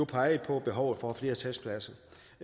peget på behovet for flere testpladser